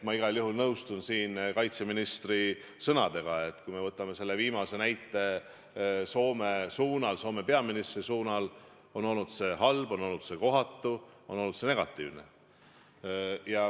Ma igal juhul nõustun kaitseministri sõnadega, et kui me võtame selle viimase näite Soome teemal, Soome peaministri teemal, siis see oli halb, see oli kohatu, see oli negatiivne.